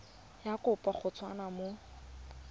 ya kopo go tswa mo